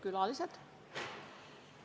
Külalised!